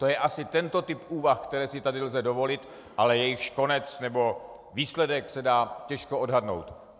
To je asi tento typ úvah, které si tady lze dovolit, ale jejichž konec nebo výsledek se dá těžko odhadnout.